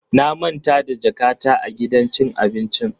Na manta da jakata a gidan cin abincin.